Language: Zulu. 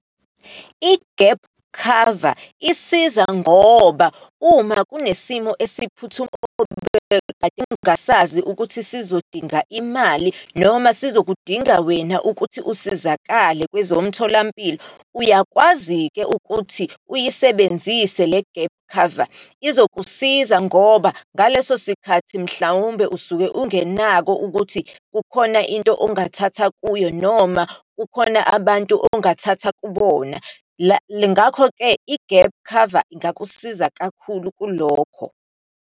I-gap cover, isiza ngoba uma kunesimo engasazi ukuthi sizodinga imali, noma sizokudinga wena ukuthi usizakale kwezomtholampilo. Uyakwazi-ke ukuthi uyisebenzise le gap cover. Izokusiza ngoba ngaleso sikhathi, mhlawumbe usuke ungenakho ukuthi kukhona into ongathatha kuyo, noma kukhona abantu ongathatha kubona. Ngakho-ke i-gap cover ingakusiza kakhulu kulokho.